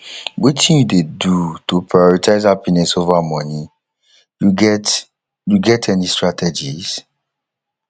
wetin you dey do to prioritize happiness over money you get you get any strategies